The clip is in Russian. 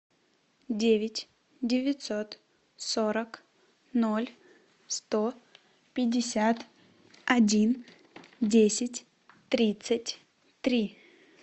девять девятьсот сорок ноль сто пятьдесят один десять тридцать три